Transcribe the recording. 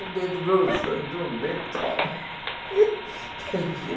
O dedo grosso entrou um medo.